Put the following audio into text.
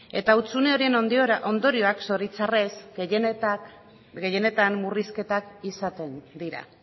eta hutsune horien ondorioak zoritzarrez gehienetan murrizketak izaten dira